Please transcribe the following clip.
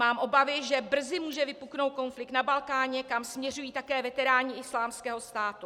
Mám obavy, že brzy může vypuknout konflikt na Balkáně, kam směřují také veteráni Islámského státu.